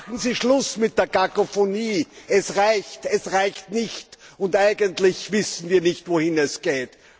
Machen Sie Schluss mit der Kakofonie Es reicht, es reicht nicht, und eigentlich wissen wir nicht, wohin es geht.